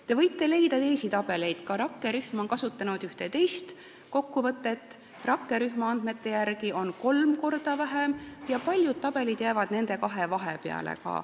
Te võite leida teisi tabeleid, ka rakkerühm on kasutanud ühte teist kokkuvõtet, nende andmete järgi on seda raha kolm korda vähem, ja paljude tabelite andmed jäävad nende kahe vahepeale.